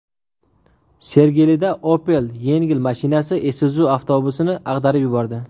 Sergelida Opel yengil mashinasi Isuzu avtobusini ag‘darib yubordi.